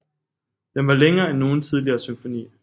Den var længere end nogen tidligere symfoni